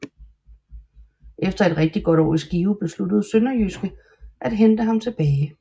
Efter et rigtig godt år i Skive besluttede SønderjyskE at hente ham tilbage